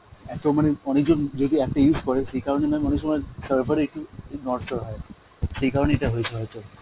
এত মানে অনেকজন যদি app টা use করে সেই কারণ এ mam অনেক সময় server এ একটু নড়চড় হয়, সেই কারণ এ এইটা হয়েছে হয়তো.